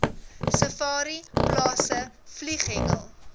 safari plase vlieghengel